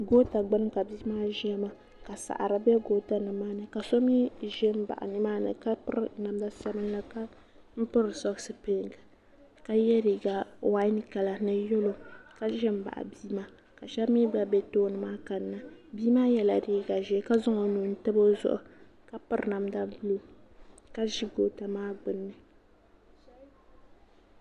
goota gbuni ka bia maa ʒiya maa ka saɣari bɛ goota maa ni ka so mii ʒɛ n baɣa nimaani ka piri namda sabinli ka piri soks piɛlli ka yɛ liiga wain kala ka ʒɛ n baɣa bia maa ka shab mii gba ʒɛ tooni maa bia maa yɛla liiga ʒiɛ ka zaŋ o nuu n tabi o zuɣu ka piri namda ʒiɛ ka ʒi goota maa gbuni